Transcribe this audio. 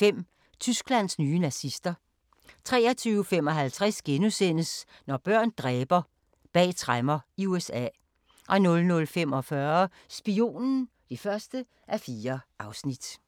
(1:2) 23:05: Tysklands nye nazister 23:55: Når børn dræber – bag tremmer i USA * 00:45: Spionen (1:4)